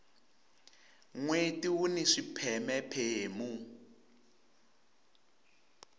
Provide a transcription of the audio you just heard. nweti wuni swipheme phemu